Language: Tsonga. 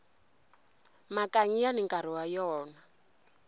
makanyi yani nkarhi wa wona